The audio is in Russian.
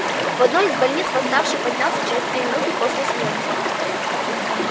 в одной из больниц восставший поднялся через три минуты после смерти